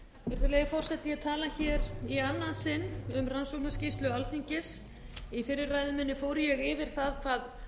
virðulegi forseti ég tala í annað sinn um rannsóknarskýrslu alþingis í fyrri ræðu minni fór ég yfir það hvað